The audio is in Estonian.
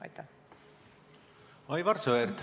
Aivar Sõerd, palun!